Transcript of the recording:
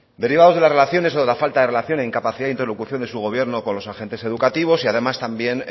derivados de las relaciones o de la falta de relación e incapacidad de interlocución de su gobierno con los agentes educativos y además también